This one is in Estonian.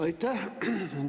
Aitäh!